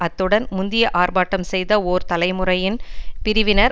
அத்துடன் முந்திய ஆர்ப்பாட்டம் செய்த ஓர் தலைமுறையின் பிரிவினர்